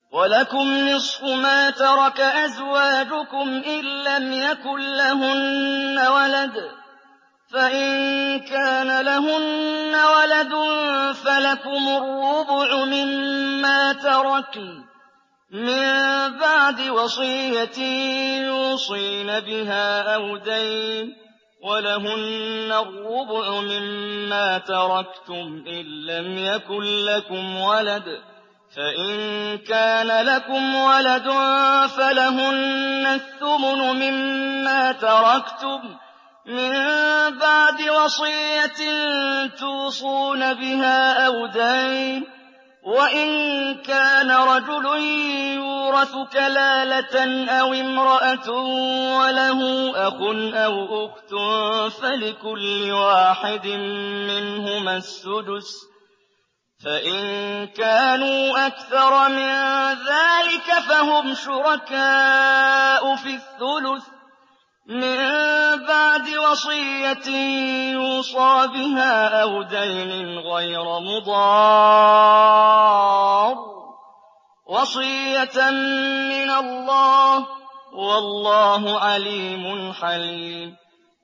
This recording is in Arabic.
۞ وَلَكُمْ نِصْفُ مَا تَرَكَ أَزْوَاجُكُمْ إِن لَّمْ يَكُن لَّهُنَّ وَلَدٌ ۚ فَإِن كَانَ لَهُنَّ وَلَدٌ فَلَكُمُ الرُّبُعُ مِمَّا تَرَكْنَ ۚ مِن بَعْدِ وَصِيَّةٍ يُوصِينَ بِهَا أَوْ دَيْنٍ ۚ وَلَهُنَّ الرُّبُعُ مِمَّا تَرَكْتُمْ إِن لَّمْ يَكُن لَّكُمْ وَلَدٌ ۚ فَإِن كَانَ لَكُمْ وَلَدٌ فَلَهُنَّ الثُّمُنُ مِمَّا تَرَكْتُم ۚ مِّن بَعْدِ وَصِيَّةٍ تُوصُونَ بِهَا أَوْ دَيْنٍ ۗ وَإِن كَانَ رَجُلٌ يُورَثُ كَلَالَةً أَوِ امْرَأَةٌ وَلَهُ أَخٌ أَوْ أُخْتٌ فَلِكُلِّ وَاحِدٍ مِّنْهُمَا السُّدُسُ ۚ فَإِن كَانُوا أَكْثَرَ مِن ذَٰلِكَ فَهُمْ شُرَكَاءُ فِي الثُّلُثِ ۚ مِن بَعْدِ وَصِيَّةٍ يُوصَىٰ بِهَا أَوْ دَيْنٍ غَيْرَ مُضَارٍّ ۚ وَصِيَّةً مِّنَ اللَّهِ ۗ وَاللَّهُ عَلِيمٌ حَلِيمٌ